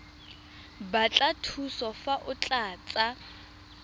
batla thuso fa o tlatsa